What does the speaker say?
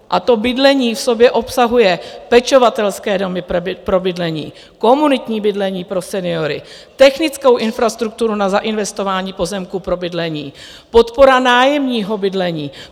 A to bydlení v sobě obsahuje pečovatelské domy pro bydlení, komunitní bydlení pro seniory, technickou infrastrukturu na zainvestování pozemků pro bydlení, podporu nájemního bydlení.